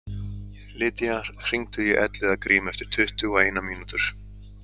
Lydia, hringdu í Elliðagrím eftir tuttugu og eina mínútur.